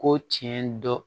Ko tiɲɛ dɔ